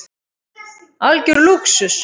Algjör lúxus.